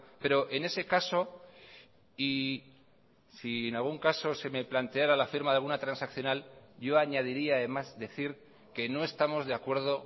pero en ese caso y si en algún caso se me planteará la firma de alguna transaccional yo añadiría además decir que no estamos de acuerdo